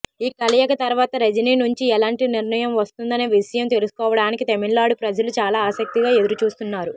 ఈ కలయిక తర్వాత రజిని నుంచి ఎలాంటి నిర్ణయం వస్తుందనే విషయం తెలుసుకోవడానికి తమిళనాడు ప్రజలు చాలా ఆసక్తిగా ఎదురుచూస్తున్నారు